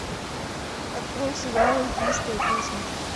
открой сериал эльфийская песнь